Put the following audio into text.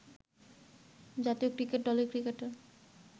জাতীয় ক্রিকেট দলের ক্রিকেটার